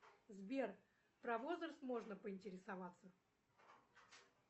сбер про возраст можно поинтересоваться